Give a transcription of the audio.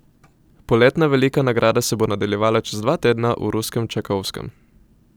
Poletna velika nagrada se bo nadaljevala čez dva tedna v ruskem Čajkovskem.